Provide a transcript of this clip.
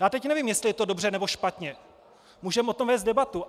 Já teď nevím, jestli je to dobře, nebo špatně, můžeme o tom vést debatu.